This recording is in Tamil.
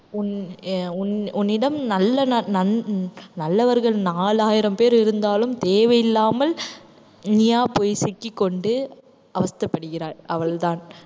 உன்~ அஹ் உன்னிடம் நல்ல நண்~அஹ் நல்லவர்கள் நாலாயிரம் பேர் இருந்தாலும் தேவையில்லாமல் நீயா போய் சிக்கிக்கொண்டு அவஸ்தைப்படுகிறாய் அவள்தான்